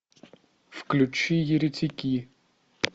включи еретики